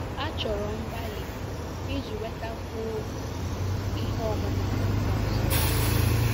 Achọrọ mgbalị iji nwetakwuo ihe ọmụma Akwụkwọ Nsọ.